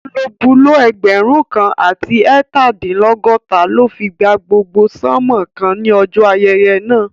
Bulobúló ẹgbẹ̀rún kan àti ẹẹtadinlọgọta ló fi gba gbogbo sánmòn kan ní ọjọ́ ayẹyẹ náà